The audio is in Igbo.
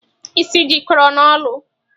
Isi jikọrọ n'olu.